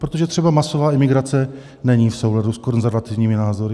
Protože třeba masová imigrace není v souladu s konzervativními názory.